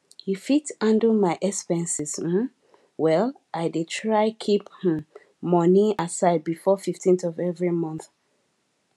to fit handle my expenses um well i dey try keep um money aside before 15th of every month